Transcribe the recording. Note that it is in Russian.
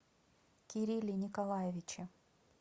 кирилле николаевиче